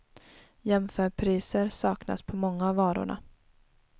Jämförpriser saknas på många av varorna.